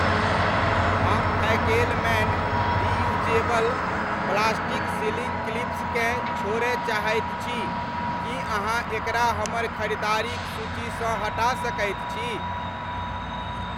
हम Fackelmann reusable plastic sealing क्लिप्सकेँ छोड़य चाहैत छी, की अहाँ एकरा हमर खरीदारिक सूचीसँ हटा सकैत छी ?